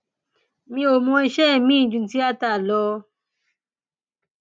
mi ò mọ iṣẹ miín ju tiata lọ